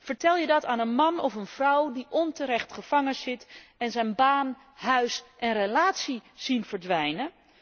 Vertel je dat aan een man of een vrouw die onterecht gevangenzit en zijn baan, huis en relatie ziet verdwijnen?